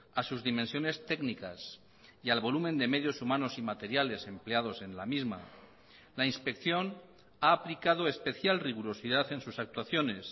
a sus dimensiones técnicas y al volumen de medios humanos y materiales empleados en la misma la inspección ha aplicado especial rigurosidad en sus actuaciones